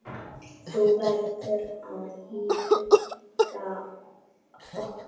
Þú verður í huga okkar.